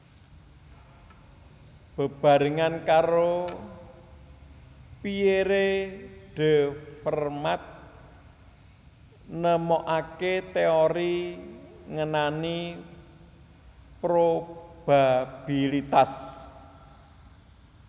Bebarengan karo Pierre de Fermat nemokaké téori ngenani probabilitas